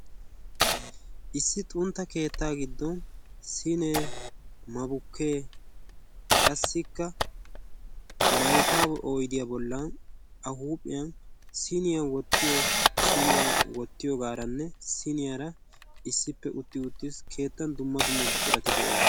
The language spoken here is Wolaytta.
issi xunta keetta giddon siinee, mabukee qassikka maykka oydiya bolan a huuphiyan siiniya woytiyooge utti wotiis.